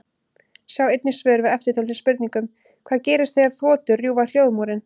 Sjá einnig svör við eftirtöldum spurningum: Hvað gerist þegar þotur rjúfa hljóðmúrinn?